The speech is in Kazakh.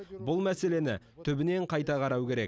бұл мәселені түбінен қайта қарау керек